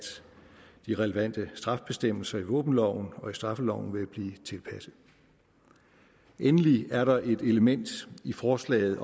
de relevante straffebestemmelser i våbenloven og straffeloven vil blive tilpasset endelig er der det element i forslaget